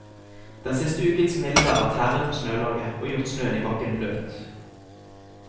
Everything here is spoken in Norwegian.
Den siste ukens mildvær har tæret på snølaget, og gjort snøen i bakken bløt.